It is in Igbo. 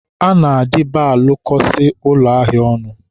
a na-adịba alụkọsị ụlọ ahịa ọnụ.